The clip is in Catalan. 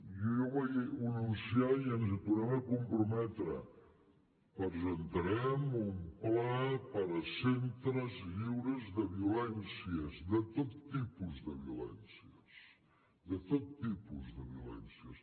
jo ho vaig anunciar i ens hi tornem a comprometre presentarem un pla per a centres lliures de violències de tot tipus de violències de tot tipus de violències